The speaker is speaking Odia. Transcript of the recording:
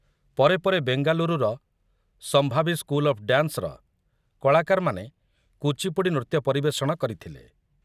ପରେ ପରେ ବେଙ୍ଗାଲୁରୁର 'ସମ୍ଭାବୀ ସ୍କୁଲ ଅଫ୍ ଡ୍ୟାନ୍ସ'ର କଳାକାରମାନେ କୁଚିପୁଡ଼ି ନୃତ୍ୟ ପରିବେଷଣ କରିଥିଲେ।